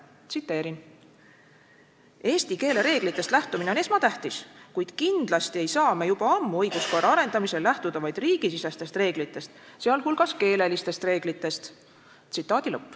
Tsiteerin: "Eesti keele reeglitest lähtumine on esmatähtis, kuid kindlasti ei saa me juba ammu õiguskorra arendamisel lähtuda vaid riigisisestest reeglitest, sealhulgas keelelistest reeglitest.